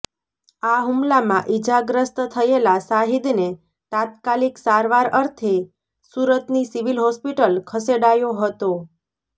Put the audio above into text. આ હુમલામાં ઈજાગ્રસ્ત થયેલા શાહિદને તાત્કાલીક સારવાર અર્થે સુરતની સિવિલ હોસ્પિટલ ખસેડાયો હતો